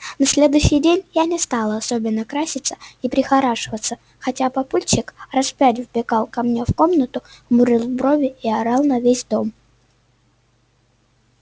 на следующий день я не стала особенно краситься и прихорашиваться хотя папульчик раз пять вбегал ко мне в комнату хмурил брови и орал на весь дом